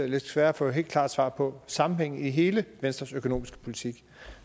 lidt sværere at få et helt klart svar på sammenhængen i hele venstres økonomiske politik